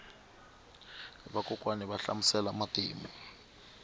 vakokwani va hlamusela matimu